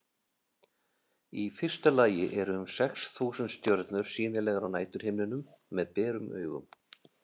Í fyrsta lagi eru um sex þúsund stjörnur sýnilegar á næturhimninum með berum augum.